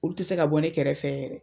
Olu te se ka bɔ ne kɛrɛfɛ yɛrɛ.